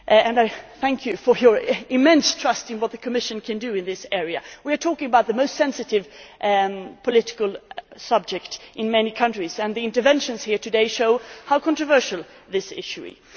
for. I thank you for your immense trust in what the Commission can do in this area. We are talking about the most sensitive political subject in many countries and the interventions here today show how controversial this issue